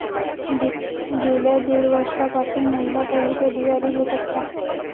गेल्या दीड वर्षापासून महिला पोलीस अधिकारी बेपत्ता